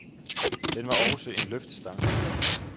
Den var også en løftestang.